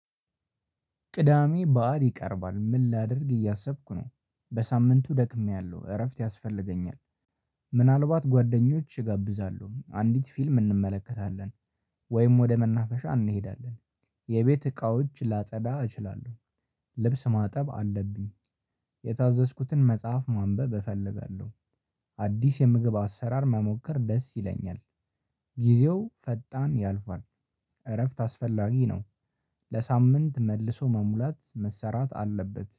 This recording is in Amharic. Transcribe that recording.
ቅዳሜ ባእል ይቀርባል ምን? ላድርግ እያሰብኩ ነው በሳምንቱ ደክሜያለሁ እረፍት ያስፈልገኛል። ምናልባት ጓደኞች እጋብዛለሁ አንዲት ፊልም እንመለከታለን። ወይም ወደ መናፈሻ እንሄዳለን። የቤት እቃዎች ላጸዳ እችላለሁ። ልብስ ማጠብ አለብኝ። የታዘዝኩትን መጽሐፍ ማንበብ እፈልጋለሁ። አዲስ የምግብ አሰራር መሞከር ደስ ይለኛል። ጊዜው ፈጣን ያልፋል። እረፍት አስፈላጊ ነው። ለሳምንት መልሶ መሙላት መሰራት አለበት